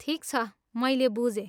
ठिक छ, मैले बुझेँ।